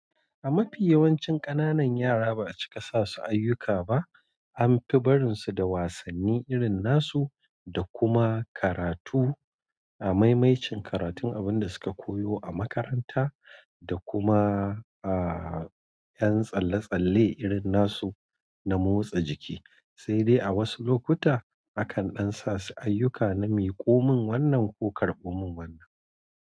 A mafi yawancin ƙananan yara ba a cika sa su ayyuka ba an fi barin su da wasanni irin nasu, da kuma karatu a maimaicin karatun abin da su ka koyo a makaranta, da kuma a yan tsalle tsalle irin nasu na motsa jiki, sai dai a wasu lokuta akan ɗan sa su ayyuka na miƙomin wannan ko karɓo min wannan.